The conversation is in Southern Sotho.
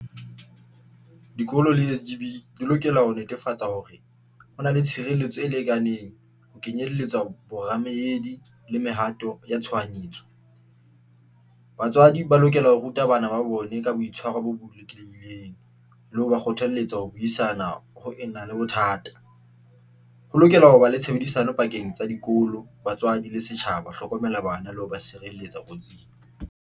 Dikolo le S_ G_ B di lokela ho netefatsa hore ho na le tshireletso e lekaneng, ho ke nyelletswa bo remedy le mehato ya tshohanyetso. Batswadi ba lokela ho ruta bana ba ba bone ka boitshwaro bo botle. Le ho ba kgothalletsa ho buisana ho re na le bothata. Ho lokela ho ba le tshebedisano pakeng tsa dikolo, batswadi le setjhaba ho hlokomela bana le ho ba sireletsa kotsing.